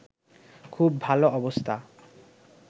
খুব ভালো অবস্থা